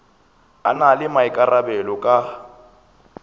a na le maikarabelo ka